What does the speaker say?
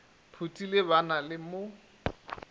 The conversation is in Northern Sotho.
phuthile ba na le mo